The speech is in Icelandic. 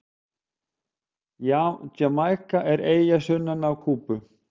Jamaíka er eyja sunnan af Kúbu.